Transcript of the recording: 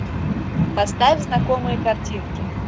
поставь знакомые картинки